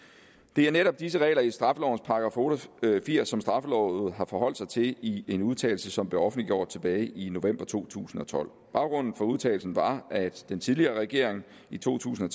det er netop disse regler i straffelovens § otte og firs som straffelovrådet har forholdt sig til i en udtalelse som blev offentliggjort tilbage i november to tusind og tolv baggrunden for udtalelsen var at den tidligere regering i to tusind